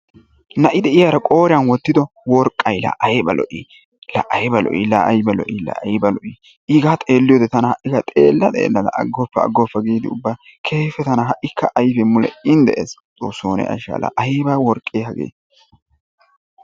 Na'i de'iyaara qooriyaan woottido worqqay la ayba lo"ii! la ayba lo"ii! la ayba lo"ii! iigaa xeelliyoode tana xeella xellada agoppa agoppa giidi ubba keehippe tana ha'ikka ayfee mule iin de'es. xoossoo ne ashsha la ayba worqqee hagee!